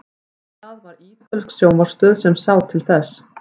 en það var ítölsk sjónvarpsstöð sem sá til þess